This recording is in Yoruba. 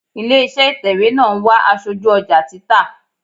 Ilé iṣẹ́ ìtẹ̀wẹ́ náà ń wá aṣojú ọjà títà.